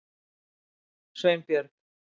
Sveinbjörg